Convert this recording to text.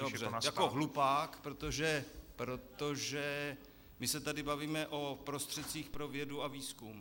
Dobře, jako hlupák, protože my se tady bavíme o prostředcích pro vědu a výzkum.